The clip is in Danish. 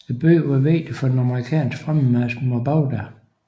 Byen var vigtig for den amerikanske fremmarch mod Bagdad